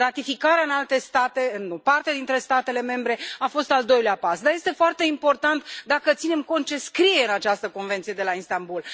Ratificarea în alte state, de o parte dintre statele membre, a fost al doilea pas. Dar este foarte important dacă ținem cont de ce scrie în această Convenție de la Istanbul.